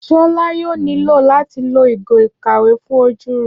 Ṣọlá yóò nílò láti lo ìgò ìkàwé fún ojú rẹ̀